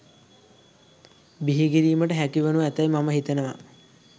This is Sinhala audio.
බිහිකිරීමට හැකි වනු ඇතැයි මම හිතනවා.